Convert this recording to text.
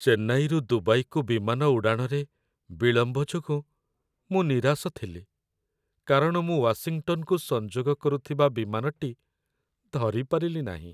ଚେନ୍ନାଇରୁ ଦୁବାଇକୁ ବିମାନ ଉଡ଼ାଣରେ ବିଳମ୍ବ ଯୋଗୁଁ ମୁଁ ନିରାଶ ଥିଲି କାରଣ ମୁଁ ୱାଶିଂଟନ୍‌କୁ ସଂଯୋଗ କରୁଥିବା ବିମାନଟି ଧରିପାରିଲି ନାହିଁ।